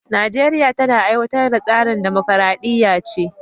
Najeriya tana aiwatar da tsarin mulkin dimokradiyya ce